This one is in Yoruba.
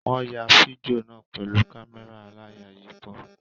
Wọ́n ya fídíò náà pẹ̀lú kámẹ́rà aláyàyípo.